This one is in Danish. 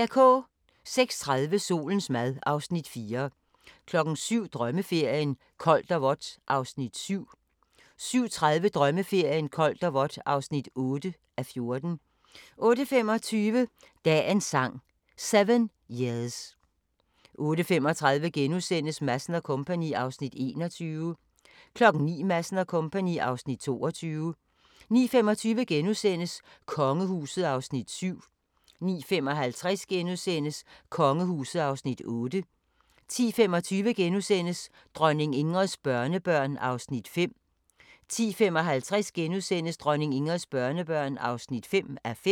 06:30: Solens mad (Afs. 4) 07:00: Drømmeferien: Koldt og vådt (7:14) 07:30: Drømmeferien: Koldt og vådt (8:14) 08:25: Dagens Sang: 7 years 08:35: Madsen & Co. (Afs. 21)* 09:00: Madsen & Co. (Afs. 22) 09:25: Kongehuset (Afs. 7)* 09:55: Kongehuset (Afs. 8)* 10:25: Dronning Ingrids børnebørn (4:5)* 10:55: Dronning Ingrids børnebørn (5:5)*